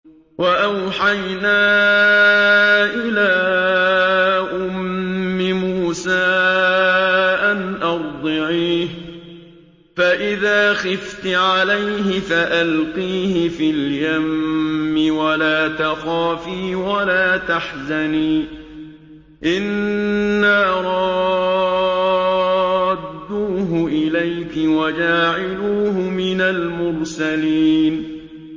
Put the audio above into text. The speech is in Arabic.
وَأَوْحَيْنَا إِلَىٰ أُمِّ مُوسَىٰ أَنْ أَرْضِعِيهِ ۖ فَإِذَا خِفْتِ عَلَيْهِ فَأَلْقِيهِ فِي الْيَمِّ وَلَا تَخَافِي وَلَا تَحْزَنِي ۖ إِنَّا رَادُّوهُ إِلَيْكِ وَجَاعِلُوهُ مِنَ الْمُرْسَلِينَ